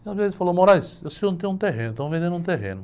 falou, eu sei onde tem um terreno, estão vendendo um terreno.